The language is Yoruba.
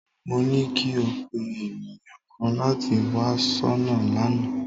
Mo ní kí o pé ènìyàn kan láti wá soná lánàá